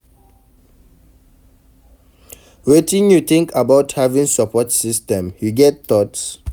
Wetin you think about having support system, you get thoughts?